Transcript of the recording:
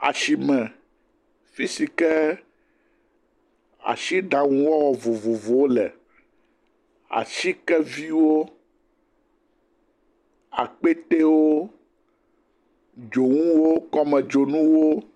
Asime, fi si ke asiɖaŋuwɔwɔ vovovowo le, atikeviwo, akpetewo, dzonuwo, kɔmedzonuwo.